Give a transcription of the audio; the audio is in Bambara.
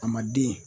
A ma den